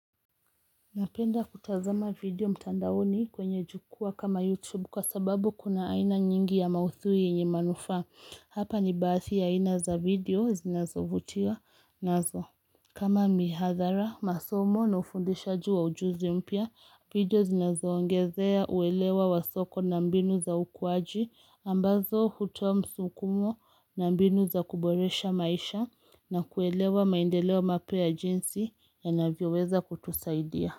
Napenda kutazama video mtandaoni kwenye jukwaa kama YouTube kwa sababu kuna aina nyingi ya maudhui yenye manufaa. Hapa ni bathi ya aina za video zinazovutia nazo. Kama mihadhara, masomo na ufundishaji wa ujuzi mpya, video zinazoongezea uelewa wasoko na mbinu za ukuwaji, ambazo hutoa msukumo na mbinu za kuboresha maisha na kuelewa maendeleo mapya ya jinsi yanavyoweza kutusaidia.